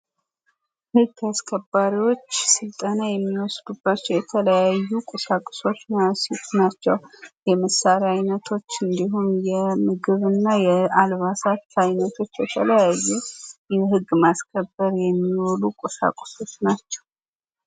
የህግ አስከባሪውች ስልጠና የሚወስዱባቸው የተለያዩ ቁሳቁሶች ናቸው። የመሣሪያ አይነቶች እንዲሁም የምግብና የአልባሳት አይነቶች የተለያዩ ህግ ማስከበር የሚወሉ ቁሳቁሶች ናቸው።